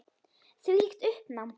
Þvílíkt uppnám.